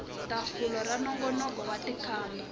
tafula ra nongonoko wo tikamba